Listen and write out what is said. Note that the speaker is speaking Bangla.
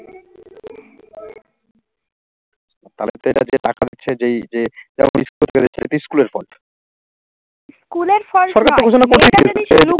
তাহলে এটাতে টাকা নিচ্ছে যেই যে স্কুলের fault